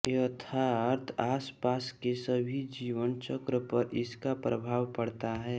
अर्थात आस पास के सभी जीवन चक्र पर इसका प्रभाव पड़ता है